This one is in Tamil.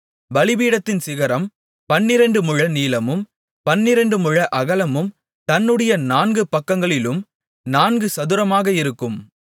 பலிபீடத்தின் சிகரம் பன்னிரண்டு முழ நீளமும் பன்னிரண்டு முழ அகலமும் தன்னுடைய நான்கு பக்கங்களிலும் நான்கும் சதுரமுமாக இருக்கும்